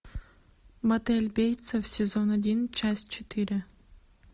мотель бейтса сезон один часть четыре